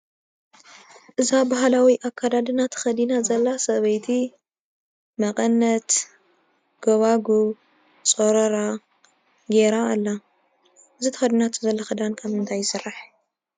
እዛ ባህላዊ ኣከዳድና ተኸዲና ዘላ ሰበይቲ መቐነት፣ ጎቦጉብ፣ ፅሩራ ገይራ ኣላ፡፡ እዚ ተኸዲናቶ ዘላ ኽዳን ካብ ምንታይ ይስራሕ?